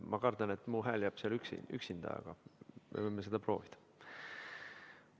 Ma kardan küll, et minu hääl jääb seal üksinda, aga me võime seda proovida.